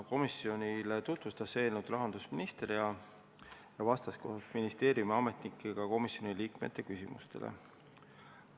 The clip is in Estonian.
Komisjonile tutvustas eelnõu rahandusminister, kes vastas koos ministeeriumi ametnikega ka komisjoni liikmete küsimustele.